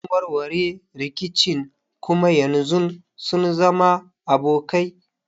Sun warware rikicin kuma yanzu sun zama abokai.